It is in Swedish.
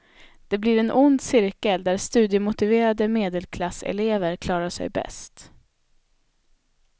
Det blir en ond cirkel, där studiemotiverade medelklasselever klarar sig bäst.